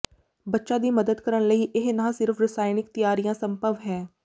ਬੱਚਾ ਦੀ ਮਦਦ ਕਰਨ ਲਈ ਇਹ ਨਾ ਸਿਰਫ਼ ਰਸਾਇਣਕ ਤਿਆਰੀਆਂ ਸੰਭਵ ਹੈ